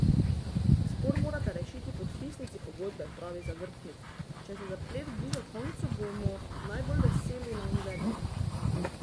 Spor morata rešiti podpisnici pogodbe, pravi Zavrtanik: "Če se zaplet bliža koncu, bomo najbolj veseli na Univerzi.